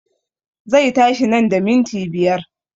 Zai tashi nan da minti biyar